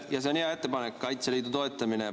Ja see on hea ettepanek, Kaitseliidu toetamine.